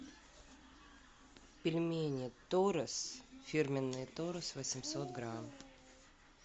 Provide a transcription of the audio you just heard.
пельмени торес фирменные торес восемьсот грамм